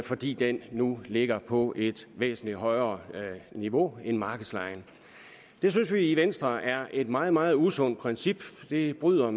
fordi den nu ligger på et væsentlig højere niveau end markedslejen det synes vi i venstre er et meget meget usundt princip det bryder